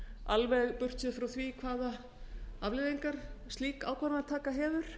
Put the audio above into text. alveg burtséð frá því hvaða afleiðingar slík ákvarðanataka hefur